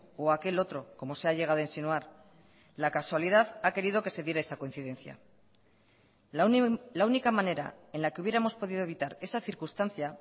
o aquel otro como se ha llegado a insinuar la casualidad ha querido que se diera esta coincidencia la única manera en la que hubiéramos podido evitar esa circunstancia